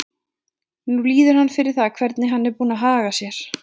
Nú líður hann fyrir það hvernig hann er búinn að haga sér.